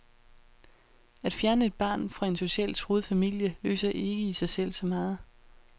At fjerne et barn fra en socialt truet familie løser ikke i sig selv så meget.